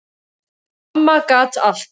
Amma gat allt.